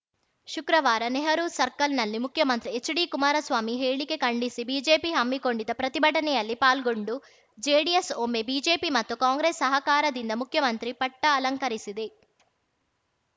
ಶುಕ್ರವಾರ ನೆಹರೂ ಸರ್ಕಲ್‌ನಲ್ಲಿ ಮುಖ್ಯಮಂತ್ರಿ ಹೆಚ್‌ಡಿಕುಮಾರಸ್ವಾಮಿ ಹೇಳಿಕೆ ಖಂಡಿಸಿ ಬಿಜೆಪಿ ಹಮ್ಮಿಕೊಂಡಿದ್ದ ಪ್ರತಿಭಟನೆಯಲ್ಲಿ ಪಾಲ್ಗೊಂಡು ಜೆಡಿಎಸ್‌ ಒಮ್ಮೆ ಬಿಜೆಪಿ ಮತ್ತು ಕಾಂಗ್ರೆಸ್‌ ಸಹಕಾರದಿಂದ ಮುಖ್ಯಮಂತ್ರಿ ಪಟ್ಟಅಲಂಕರಿಸಿದೆ